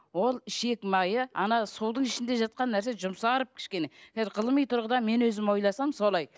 ол ішек майы ана судың ішінде жатқан нәрсе жұмсарып кішкене ғылыми тұрғыда мен өзім ойласам солай